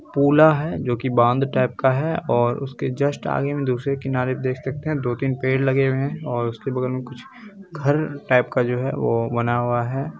पुला है जो की बांध टाइप का बना हुआ है और उसके जस्ट आगे में दूसरे किनारे पे देख सकते है दो -तीन पेड़ लगे हुये हैं और उसके बगल में कुछ घर टाइप का जो है वो बना हुआ हैं।